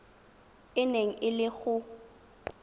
e neng e le go